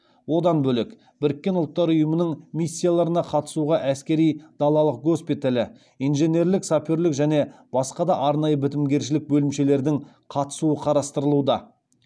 одан бөлек біріккен ұлттар ұйымының миссияларына қатысуға әскери далалық госпиталі инженерлік саперлік және басқа да арнайы бітімгершілік бөлімшелердің қатысуы қарастырылуда